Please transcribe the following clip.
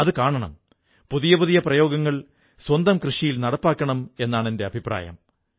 ഇന്ന് മൻ കീ ബാത്തിൽ അദ്വിതീയമായ കഴിവുള്ള ഒരു വ്യക്തിയെ ഞാൻ പരിചയപ്പെടുത്താം